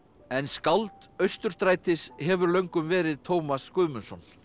en skáld Austurstrætis hefur löngum verið Tómas Guðmundsson